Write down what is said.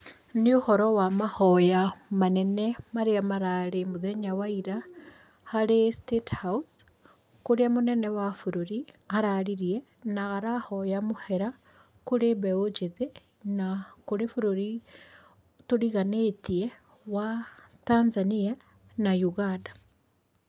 Nĩ ũhoro wa mahoya manene marĩa mararĩ mũthenya wa ira harĩ statehouse .Kũrĩa mũnene wa bũrũri araririe na arahoya mũhera kũrĩ mbeũ njĩthĩ na kũrĩ bũrũri tũriganĩtie wa Tanzania na Uganda.